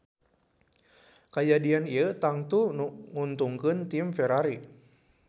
Kajadian ieu tangtu nguntungkeun tim Ferrari